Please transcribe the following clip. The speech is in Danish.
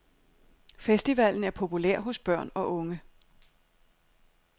Festivalen er populær hos børn og unge.